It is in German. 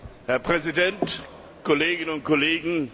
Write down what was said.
Herr Präsident, Kolleginnen und Kollegen!